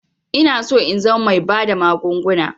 Inaso in zama bai bada magunguna